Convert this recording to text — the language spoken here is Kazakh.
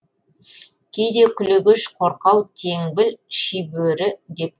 кейде күлегеш қорқау теңбіл шибөрі деп